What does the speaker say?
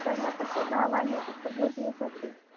त्यांना फक्त नावाने उपभोगले जाते